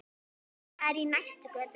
Það er í næstu götu.